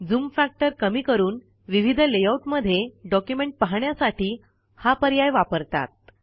zoom factor कमी करून विविध लेआऊट मध्ये डॉक्युमेंट पाहण्यासाठी हा पर्याय वापरतात